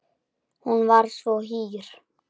Hún var svo hýr.